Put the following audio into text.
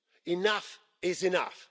enough is enough.